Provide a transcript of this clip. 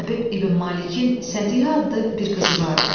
Həbib İbn Malikin Səthihə adlı bir qızı vardı.